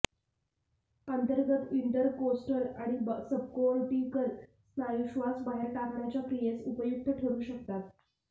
अंतर्गत इंटरकोस्टल आणि सबकोर्टिकल स्नायू श्वास बाहेर टाकण्याच्या क्रियेस उपयुक्त ठरू शकतात